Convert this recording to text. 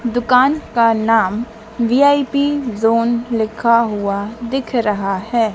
दुकान का नाम वी_आई_पी जोन लिखा हुआ दिख रहा है।